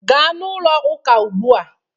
Gaa n'ụlọ ụka ugbua!